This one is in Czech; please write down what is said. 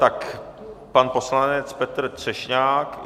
Tak pan poslanec Petr Třešňák.